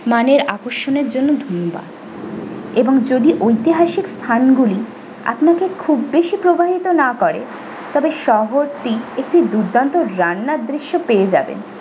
মানের আকর্ষণের জন্য ধনুবাদ এবং যদি ঐতিহাসিক স্থান গুলি আপনাকে খুব বেশি প্রভাবিত না করে তবে শহরটি একটি দুর্দান্ত রান্নার দৃশ্য পেয়ে যাবেন।